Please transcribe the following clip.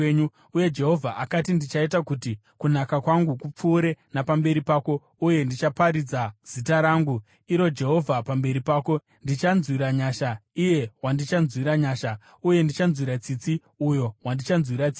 Uye Jehovha akati, “Ndichaita kuti kunaka kwangu kupfuure napamberi pako, uye ndichaparidza zita rangu, iro Jehovha, pamberi pako. Ndichanzwira nyasha iye wandichanzwira nyasha, uye ndichanzwira tsitsi uyo wandichanzwira tsitsi.”